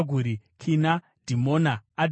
Kina, Dhimona, Adhadha,